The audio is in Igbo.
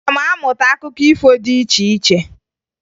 Aga m amụta akụkọ ifo dị iche iche.